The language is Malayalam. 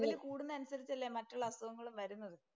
കൂടുന്നതനുസരിച്ചല്ലേ മറ്റുള്ള അസുഖങ്ങളും വരുന്നത്.